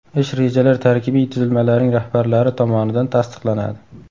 Ish rejalar tarkibiy tuzilmalarning rahbarlari tomonidan tasdiqlanadi.